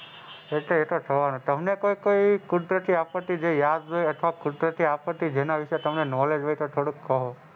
એતો એતો થવાનું જ તમને કોઈ કુદરતી આપત્તિ જો યાદ હોય અથવા કુદરતી આપત્તિ જેના વિશે તમને knowledge હોય તો થોડુક કહો.